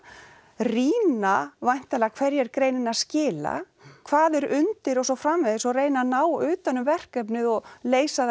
rýna væntanlega hverju er greinin að skila hvað er undir og svo framvegis og reyna að ná utan um verkefnið og leysa það